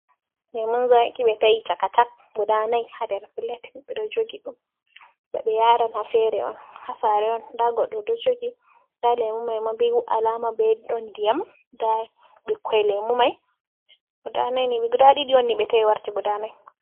Lemun zaaki ɓe ta'i caka-cak gudana'i haa nder plet ɓeɗo jogi ɗum ba ɓe yaran ha fere on ha sare on nda goɗɗo ɗo jogi nda lemumai ma ɓe alama ɗon diyam nda ɓikkoi lemu mai guda ɗiɗi ɓe ta'i warti guda nai.